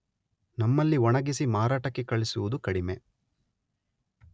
ನಮ್ಮಲ್ಲಿ ಒಣಗಿಸಿ ಮಾರಾಟಕ್ಕೆ ಕಳುಹಿಸುವುದು ಕಡಿಮೆ.